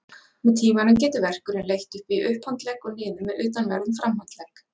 Með tímanum getur verkurinn leitt upp í upphandlegg og niður með utanverðum framhandlegg.